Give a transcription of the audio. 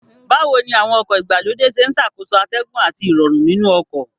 Báwo ni àwọn ọkọ̀ ìgbàlódé ṣe ń ṣàkóso atẹ́gùn àti Ìrọ̀rùn nínú ọkọ̀